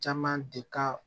Caman de ka